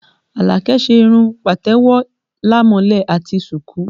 Alake ṣe irun patewo, lamole àti suku